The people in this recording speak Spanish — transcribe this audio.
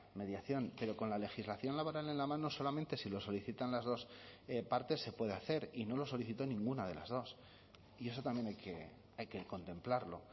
mediación pero con la legislación laboral en la mano solamente si lo solicitan las dos partes se puede hacer y no lo solicitó ninguna de las dos y eso también hay que contemplarlo